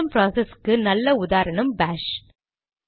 system ப்ராசஸ்க்கு நல்ல உதாரணம் பாஷ்